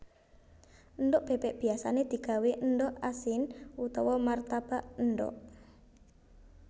Endhog bébék biyasané digawé endhog asin utawa martabak endhog